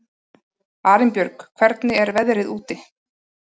Arinbjörg, hvernig er veðrið úti?